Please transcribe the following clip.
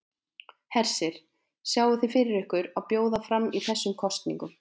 Hersir: Sjáið þið fyrir ykkur að bjóða fram í þessum kosningum?